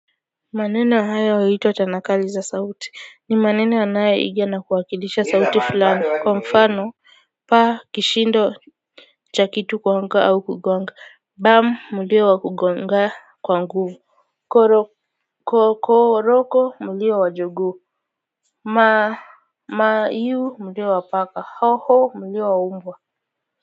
Maneno haya huiywa tanakali za sauti ni maneno yanayoiga na kuwakilisha sauti fulani kwa mfano pa kishindo cha kitu kuanguka au kugonga bam mulio wa kugonga kwa nguvu koroko mulio wa jogoo ma iu mulio wa paka hoho mulio wa mbwa.